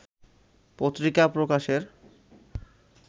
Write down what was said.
পত্রিকা প্রকাশের